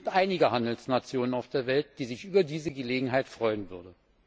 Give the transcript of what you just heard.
Es gibt einige Handelsnationen auf der Welt, die sich über diese Gelegenheit freuen würden.